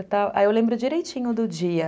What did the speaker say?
Aí eu lembro direitinho do dia.